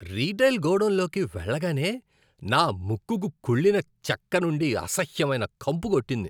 Retail గోడౌన్లోకి వెళ్లగానే, నా ముక్కుకు కుళ్ళిన చెక్క నుండి అసహ్యమైన కంపు కొట్టింది.